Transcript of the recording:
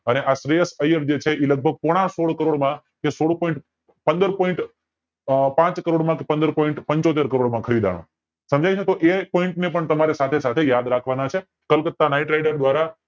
અને આ શ્રેયસ અયર જે છે એ લગભગ પોના સોલ કરોડ માં કે સોળ POINT પંદર POINT પાંચ કરોડ માં કે પંદર POINT પંચોતેર કરોડ માં ખરીદનો સમજાય છે તો એ POINT ને પણ તમારે સાથે સાથે યાદ રાખવાના છે કોલકાત્તા નાઈટ રાઇડર દ્વારા